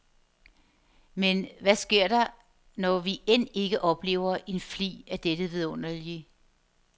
Men hvad sker der, når vi end ikke oplever en flig af dette vidunderlige.